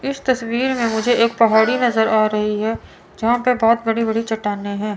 इस तस्वीर में मुझे एक पहाड़ी नजर आ रही है जहां पे बहोत बड़ी बड़ी चट्टानें हैं।